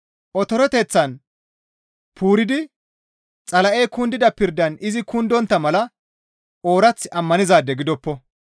Otoreteththan puuridi Xala7ey kundida pirdan izi kundontta mala oorath ammanizaade gidoppo.